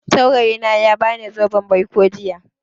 Saurayi na ya ba ni zoben baiko jiya